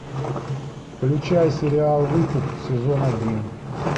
включай сериал выкуп сезон один